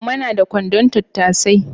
Umma na da kwandon tattasai